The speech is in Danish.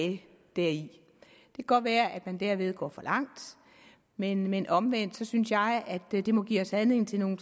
det kan godt være at man derved går for langt men men omvendt synes jeg at det må give os anledning til nogle